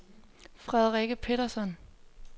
Frederikke Petersson